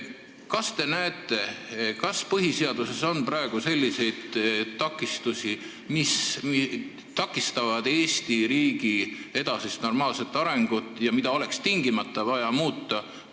Kas te näete, et põhiseaduses on praegu selliseid takistusi, mis takistavad Eesti riigi edasist normaalset arengut ja mida oleks tingimata vaja muuta?